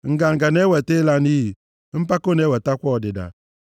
Nganga na-eweta ịla nʼiyi, mpako na-ewetakwa ọdịda.